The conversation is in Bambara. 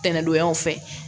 Tɛnɛndonyaw fɛ